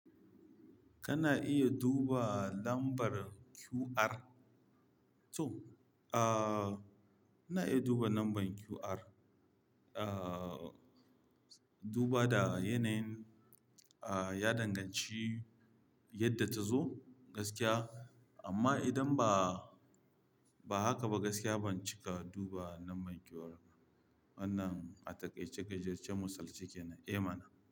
Kana iya duba lambar QR. To, ah, ina iya duba lambar QR. Ah, duba da yanayin, ah, ya danganci yadda ta zo gaskiya. Amma idan ba, ba haka ba gaskiya ban cika duba lambar QR. Wannan a taƙaice gajertaccen misal ce ke nan e mana.